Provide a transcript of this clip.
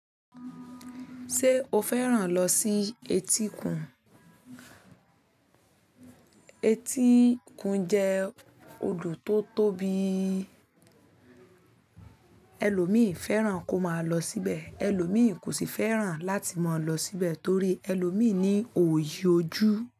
Ṣé o fẹ́ràn lọ sí etíkun? Etíkun jẹ́ odò tó tóbi, ẹlòmíì fẹ́ràn kó máa lọ síbẹ̀. Ẹlòmíì kò sì fẹ́ràn láti má lọ síbẹ̀ torí ẹlòmíì ní òyì ojú.